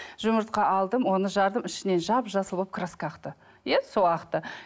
жұмыртқа алдым оны жардым ішінен жап жасыл болып краска ақты иә сол ақты